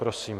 Prosím.